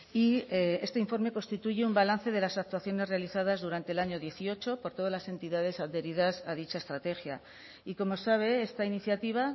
y este informe constituye un balance de las actuaciones realizadas durante el año dieciocho por todas las entidades adheridas a dicha estrategia y como sabe esta iniciativa